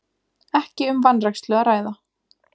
Ekki um vanrækslu að ræða